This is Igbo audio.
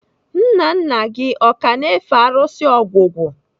Nna nna gị o ka na-efe arụsị ogwugwu?